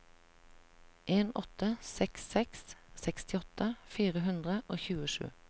en åtte seks seks sekstiåtte fire hundre og tjuesju